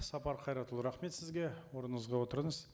сапар қайратұлы рахмет сізге орныңызға отырыңыз